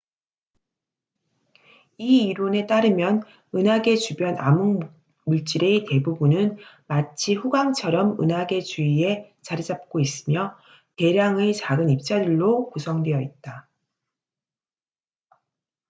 이 이론에 따르면 은하계 주변 암흑물질의 대부분은 마치 후광처럼 은하계 주위에 자리 잡고 있으며 대량의 작은 입자들로 구성되어 있다